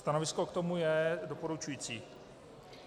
Stanovisko k tomu je doporučující.